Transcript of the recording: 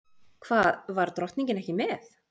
Hvað var drottningin með?